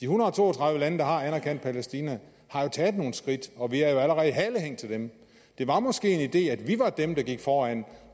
hundrede og to og tredive lande der har anerkendt palæstina har jo taget nogle skridt og vi er allerede et halehæng til dem det var måske en idé at vi var dem der gik foran